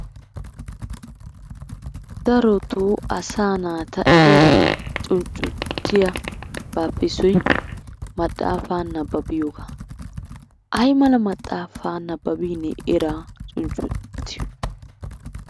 Darottoo asaa naata eraa cuccunttiyabaappe issoy maxaafaa nabbabiyogaa. Ayi mala maxaafa nabbabbiinee eraa cuccunttiyoy?